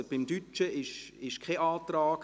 Beim Deutschsprachigen gibt es keinen Antrag.